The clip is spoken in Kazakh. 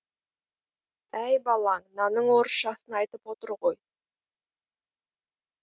әй балаң нанның орысшасын айтып отыр ғой